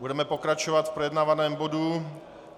Budeme pokračovat v projednávaném bodu.